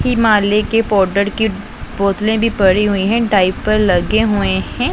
हिमालय के पाउडर की बोतले भी पड़ी हुई है डाइपर पर लगे हुए हैं।